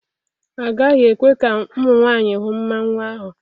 Agaghị ekwe ka ụmụ nwanyị hụ mmanwu ahụ.